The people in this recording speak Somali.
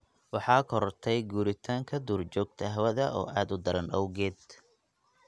Waxaa korortay guuritaanka duurjoogta hawada oo aad u daran awgeed.